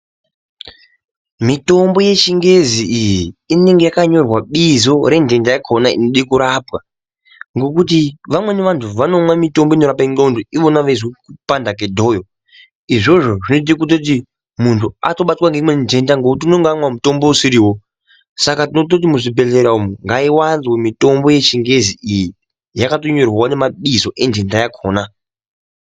mitombo yechingezi iyi inenge yakanyorwa bizo rentenda yakona inode kurapwa. Ngekuti vamweni vantu inomwa mitombo inorapa ndxondo ivona veizwa kupanda kwedhoyo. Izvozvo zvinoite kutoti muntu atobatwa ngeimweni ntenda ngekuti unonga amwa mutombo usirivo. Saka tinototi muzvibhedhlera umu ngaivanze mitombo yechingezi iyi yakatonyorwavo nemabizo entenda yakona.